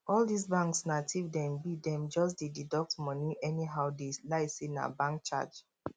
all this banks na thief dem be dem just dey deduct money anyhow dey lie say na bank charge